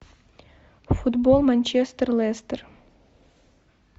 футбол манчестер лестер